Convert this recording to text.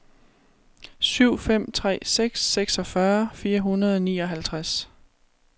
syv fem tre seks seksogfyrre fire hundrede og nioghalvtreds